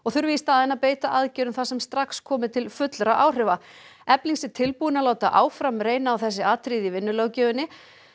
þurfi í staðinn að beita aðgerðum þar sem strax komi til fullra áhrifa efling sé tilbúin að láta áfram reyna á þessi atriði í vinnulöggjöfinni